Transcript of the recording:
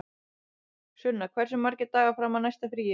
Sunna, hversu margir dagar fram að næsta fríi?